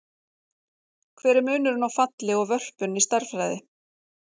Hver er munurinn á falli og vörpun í stærðfræði?